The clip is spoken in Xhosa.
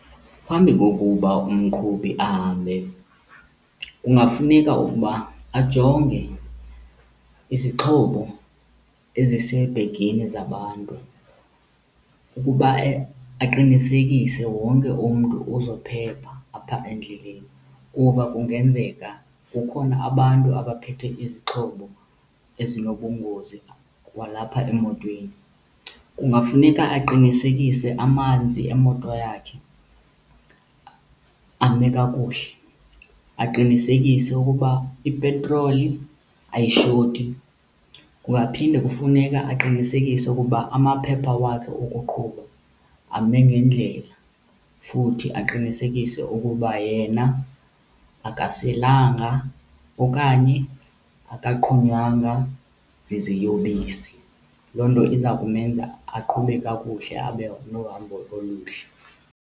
Phambi kokuba umqhubi ahambe kungafuneka ukuba ajonge izixhobo ezisebhegini zabantu ukuba aqinisekise wonke umntu uzophepha apha endleleni, kuba kungenzeka kukhona abantu abaphethe izixhobo ezinobungozi kwalapha emotweni. Kungafuneka aqinisekise amanzi emoto yakhe ame kakuhle. Aqinisekise ukuba ipetroli ayishoti. Kungaphinde kufuneka aqinisekise ukuba amaphepha wakhe okuqhuba ame ngendlela futhi aqinisekise ukuba yena akaselanga okanye akaqhunywanga ziziyobisi. Loo nto iza kumenza aqhube kakuhle abe nohambo oluhle.